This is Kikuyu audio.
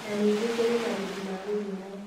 Na ningĩ kũrĩ marĩhi ma gũthimwo